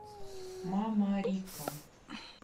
мамарика